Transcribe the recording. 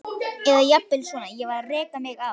Eða jafnvel svona: Ég varð að reka mig á.